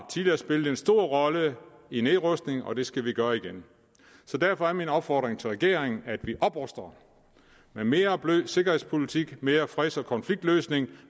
spillet en stor rolle i nedrustningen og det skal vi gøre igen så derfor er min opfordring til regeringen at vi opruster med mere blød sikkerhedspolitik mere freds og konfliktløsning